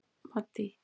Maddý